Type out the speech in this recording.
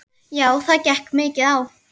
Já það gekk mikið á.